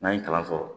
N'an ye kalanso sɔrɔ